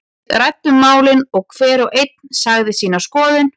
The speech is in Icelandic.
Við ræddum málin og hver og einn sagði sína skoðun.